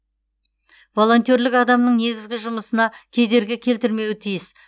волонтерлік адамның негізгі жұмысына кедергі келтірмеуі тиіс